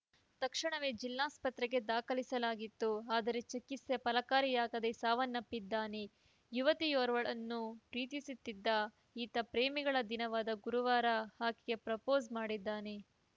ತಕ್ಷಣವೇ ಜಿಲ್ಲಾಸ್ಪತ್ರೆಗೆ ದಾಖಲಿಸಲಾಗಿತ್ತು ಆದರೆ ಚಿಕಿತ್ಸೆ ಫಲಕಾರಿಯಾಗದೇ ಸಾವನ್ನಪ್ಪಿದ್ದಾನೆ ಯುವತಿಯೋರ್ವಳನ್ನು ಪ್ರೀತಿಸುತ್ತಿದ್ದ ಈತ ಪ್ರೇಮಿಗಳ ದಿನವಾದ ಗುರುವಾರ ಆಕೆಗೆ ಪ್ರಪೋಸ್‌ ಮಾಡಿದ್ದಾನೆ